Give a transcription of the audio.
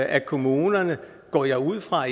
at kommunerne går jeg ud fra